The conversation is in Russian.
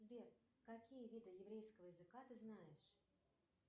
сбер какие виды еврейского языка ты знаешь